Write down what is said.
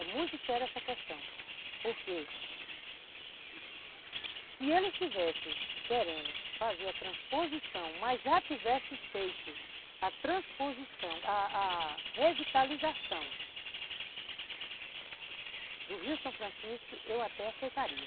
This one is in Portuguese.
É muito séria essa questão, porque se ele estivesse querendo fazer a transposição, mas já tivesse feito a transposição, a a revitalização do Rio São Francisco, eu até aceitaria.